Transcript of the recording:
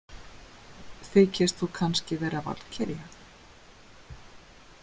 Þykist þú kannski vera valkyrja?